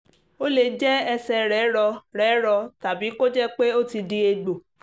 ó lè jẹ́ ẹsẹ̀ rẹ̀ rọ rẹ̀ rọ tàbí kó jẹ́ pé ó ti di egbò